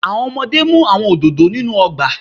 Awọn ọmọde mu awọn ododo inu ọgba